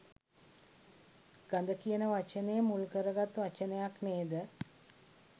ගඳ කියන වචනය මුල් කරගත් වචනයක් නේ ද?